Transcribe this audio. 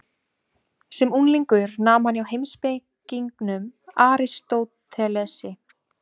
Sem unglingur nam hann hjá heimspekingnum Aristótelesi.